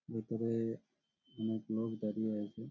ভিতরে-এ অনেক লোক দাঁড়িয়ে আছে।